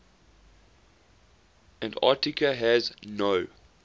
antarctica has no